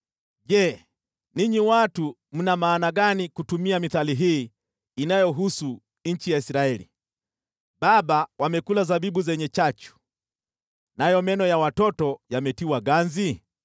“Je, ninyi watu mna maana gani kutumia mithali hii inayohusu nchi ya Israeli: “ ‘Baba wamekula zabibu zenye chachu, nayo meno ya watoto yametiwa ganzi’?